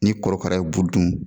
Ni kɔrɔkara ye bu dun